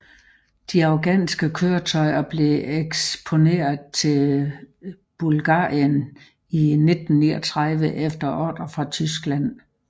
De afghanske køretøjer blev eksporteret til Bulgarien i 1939 efter ordre fra Tyskland